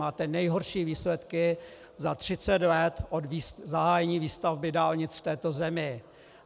Máte nejhorší výsledky za 30 let od zahájení výstavby dálnic v této zemi.